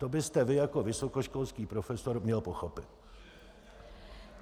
To byste vy jako vysokoškolský profesor měl pochopit.